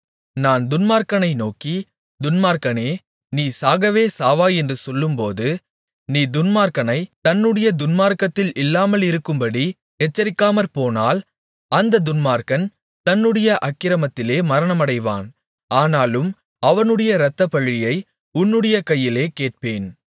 நான் துன்மார்க்கனை நோக்கி துன்மார்க்கனே நீ சாகவே சாவாய் என்று சொல்லும்போது நீ துன்மார்க்கனைத் தன்னுடைய துன்மார்க்கத்தில் இல்லாமலிருக்கும்படி எச்சரிக்காமற்போனால் அந்தத் துன்மார்க்கன் தன்னுடைய அக்கிரமத்திலே மரணமடைவான் ஆனாலும் அவனுடைய இரத்தப்பழியை உன்னுடைய கையிலே கேட்பேன்